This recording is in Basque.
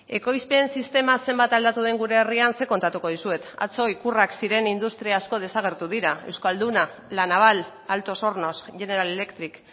ekoizpen sistema zenbat aldatu den gure herrian zer kontatuko dizuet atzo ikurrak ziren industria asko desagertu dira euskalduna la naval altos hornos general electric